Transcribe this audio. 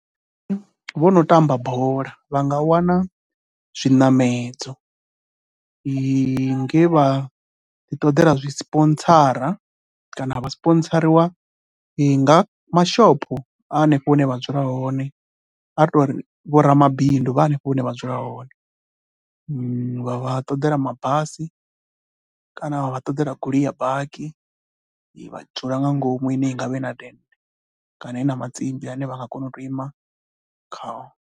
Vho no tamba bola vha nga wana zwiṋamedzo nge vha ḓiṱoḓela zwi sipontsara kana vha sipontsariwa nga mashopho a hanefho hune a dzula hone, a ri tou ri vho vhoramabindu hanefho hune vha dzula hone. Vha vha ṱoḓela mabasi kana vha vha ṱoḓela goloi ya bakhi vha dzula nga ngomu kana i na matsimbi ane vha nga kona u tou ima khao.